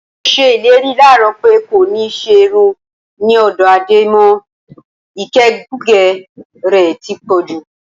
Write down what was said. Mo s̩e ìlérí láàárò̩ pé kò ní s̩e irun ní ò̩dó̩ Adé mo̩. Ìgè̩kugè̩ rè̩ ti pọ̩̀ jù.